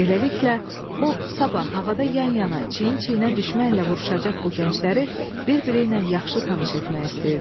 Beləliklə, o sabah havada yan-yana, çiyin-çiyinə düşmənlə vuruşacaq bu gəncləri bir-biri ilə yaxşı tanış etmək istəyirdi.